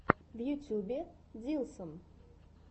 в ютубе диллсон